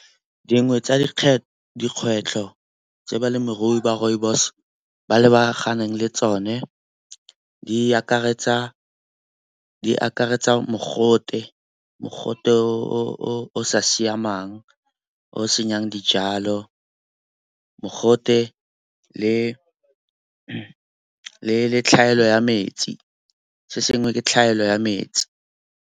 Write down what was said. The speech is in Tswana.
Dingwe tsa dikgwetlho tse balemirui ba rooibos ba lebaganeng le tsone di akaretsa mogote. Mogote o sa siamang o senyang dijalo, mogote le tlhaelo ya metsi, se sengwe ke tlhaelo ya metsi.